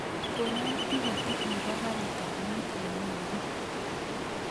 Konon tiketit nebo karit ab maat newendi